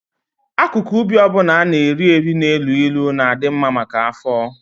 Akụkụ ubi ọ bụla a na-eri eri na-elu ilu na-adị mma maka afọ.